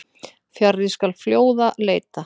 Fjarri skal fljóða leita.